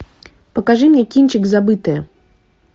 покажи мне кинчик забытое